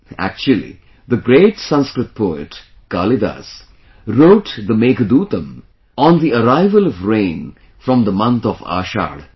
Actually, the great Sanskrit poet Kalidas wrote the Meghdootam on the arrival of rain from the month of Ashadh